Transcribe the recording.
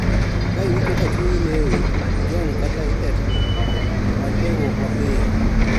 Ka iwinjo ka chunyi lewi, ijony kata itetni, many konyruok ma piyo.